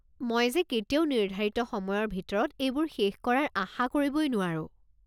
মই যে কেতিয়াও নিৰ্ধাৰিত সময়ৰ ভিতৰত এইবোৰ শেষ কৰাৰ আশা কৰিবই নোৱাৰো।